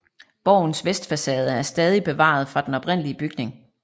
Borgens vestfacade er stadig bevaret fra den oprindelig bygning